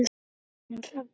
Þín Hrefna Sif.